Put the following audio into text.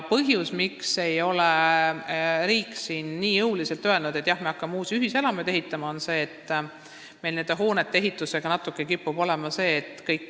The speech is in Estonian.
Põhjus, miks riik ei ole jõuliselt öelnud, et jah, me hakkame uusi ühiselamuid ehitama, on see, et nende hoonete ehitusega kipub olema probleem.